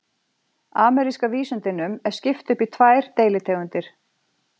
Ameríska vísundinum er skipt upp í tvær deilitegundir.